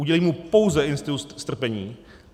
Udělí mu pouze institut strpění.